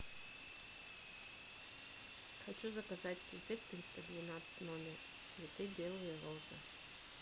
хочу заказать цветы в триста двенадцать номер цветы белые розы